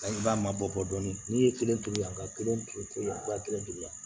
i b'a mabɔ dɔɔnin n'i ye kelen turu yan ka kelen turu yan kelen la